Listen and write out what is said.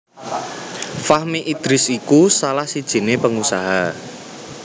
Fahmi Idris iku salah sijiné pengusaha